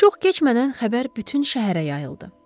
Çox keçmədən xəbər bütün şəhərə yayıldı.